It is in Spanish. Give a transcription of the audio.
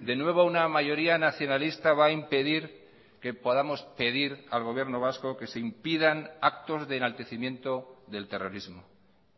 de nuevo una mayoría nacionalista va a impedir que podamos pedir al gobierno vasco que se impidan actos de enaltecimiento del terrorismo